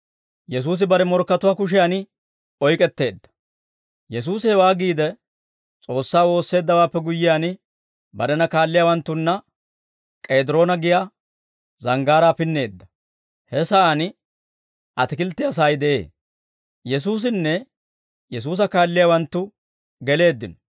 Yesuusi hewaa giide, S'oossaa woosseeddawaappe guyyiyaan, barena kaalliyaawanttunna K'ediroona giyaa zanggaaraa pinneedda. He sa'aan atikilttiyaa sa'ay de'ee; Yesuusinne Yesuusa kaalliyaawanttu geleeddino.